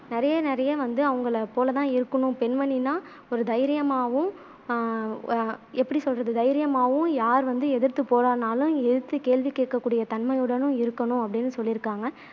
நிறைய நிறைய வந்து அவங்களை போல தான் இருக்கணும் பெண்மணின்னா ஒரு தைரியமாவும் ஆஹ் அ அ எப்படி சொல்றது தைரியமாவும் யார் வந்து எதிர்த்து போராடுனாலும் எதிர்த்து கேள்வி கேக்க கூடிய தன்மையுடனும் இருக்கணும் அப்படின்னும் சொல்லியிருக்காங்க